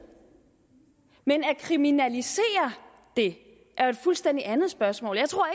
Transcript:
men at kriminalisere det er jo et fuldstændig andet spørgsmål jeg tror